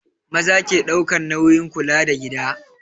Maza ke ɗaukan nauyin kula da gida